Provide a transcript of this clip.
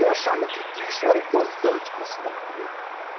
Eu achava que que isso era importante para a cidade né.